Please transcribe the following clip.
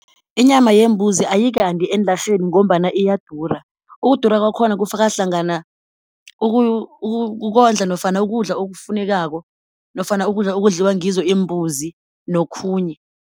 Inyama yembuzi ayikandi eenlarheni ngombana iyadura. Ukudura kwakhona kufaka hlangana ukondla nofana ukudla okufunekako nofana ukudla okudliwa ngizo imbuzi nokhunye.